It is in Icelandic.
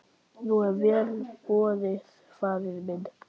Nú er vel boðið faðir minn.